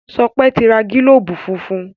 Sope n ti rà gilobu fúnfún.